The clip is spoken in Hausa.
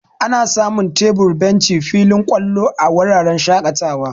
Ana samun tebur, benci, filin ƙwalo, a wuraren shaƙatawa.